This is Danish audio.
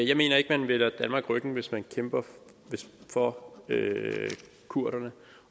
jeg mener ikke man vender danmark ryggen hvis man kæmper for kurderne